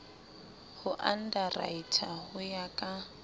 ho underwriter ho ya ka